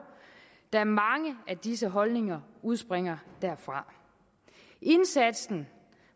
da mange af disse holdninger udspringer derfra indsatsen